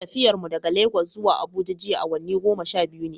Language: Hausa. Tafiyar mu daga Lagos zuwa Abuja jiya awanni goma sha biyu ne.